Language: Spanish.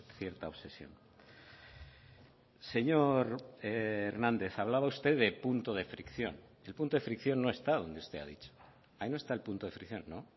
cierta obsesión señor hernández hablaba usted de punto de fricción el punto de fricción no está donde usted ha dicho ahí no está el punto de fricción no